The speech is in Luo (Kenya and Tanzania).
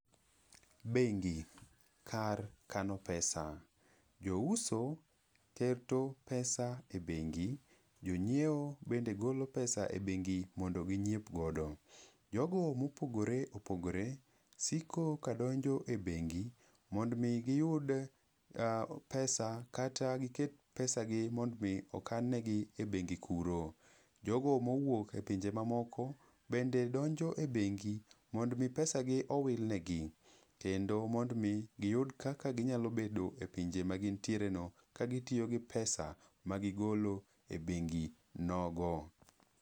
Bengi, kar kano pesa. Jouso keto pesa e bengi. Jonyiewo bende golo pesa e bengi mondo ginyiep godo. Jogo ma opogore opogore siko ka donjo e bengi mondo omi giyud pesa kata giket pesa gi mondo omi okan negi e bengi kuro. Jogo ma owuok e pinje ma moko bende donjo e bengi, mondo omi pesa gi owil negi. Kendo mondo omi, giyud kaka ginyalo bedo e pinje ma gintierego ka gitiyo gi pesa ma gigolo e bengi nogo.